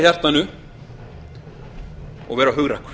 hjartanu og vera hugrakkur